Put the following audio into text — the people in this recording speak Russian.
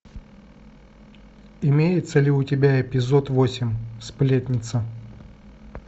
имеется ли у тебя эпизод восемь сплетница